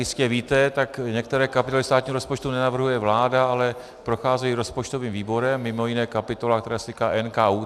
Jistě víte, tak některé kapitoly státního rozpočtu nenavrhuje vláda, ale procházejí rozpočtovým výborem, mimo jiné kapitola, která se týká NKÚ.